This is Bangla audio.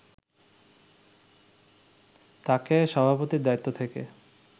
তাঁকে সভাপতির দায়িত্ব থেকে